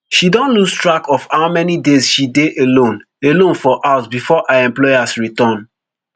she don lose track of how many days she dey alone alone for house before her employers return